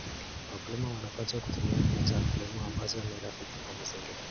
Wakulima wanapaswa kutumia mbinu za kilimo ambazo ni rafiki wa mazingira.